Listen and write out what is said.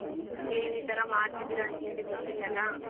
ನೀವ್ ಈತರ ಮಾಡ್ತಿದಿರ ಅಂತೇಳಿ ಗೊತ್ತಿಲ್ಲಲ್ಲ.